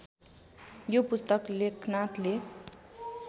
यो पुस्तक लेखनाथले